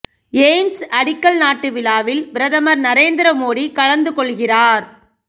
AIIMS அடிக்கல் நாட்டு விழாவில் பிரதமர் நரேந்திர மோடி கலந்து கொள்கிறார்